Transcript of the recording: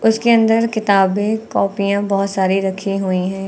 उसके अंदर किताबें कॉपीयां बहोत सारी रखी हुई हैं।